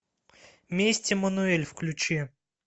месть эммануэль включи